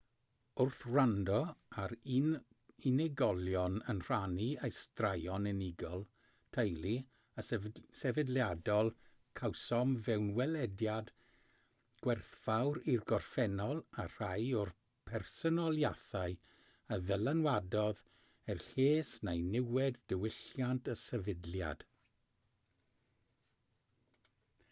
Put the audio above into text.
wrth wrando ar unigolion yn rhannu eu straeon unigol teulu a sefydliadol cawsom fewnwelediad gwerthfawr i'r gorffennol a rhai o'r personoliaethau a ddylanwadodd er lles neu niwed diwylliant y sefydliad